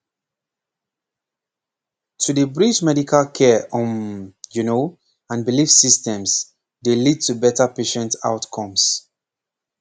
pause to dey bridge medical care um you know and belief systems dey lead to better patient outcomes